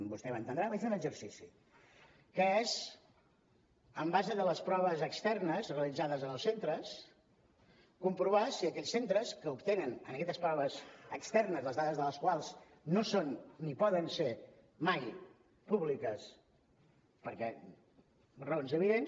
vostè m’entendrà vaig fer un exercici que és en base a les proves externes realitzades en els centres comprovar si aquells centres que obtenen en aquestes proves externes les dades de les quals no són ni poden ser mai públiques per raons evidents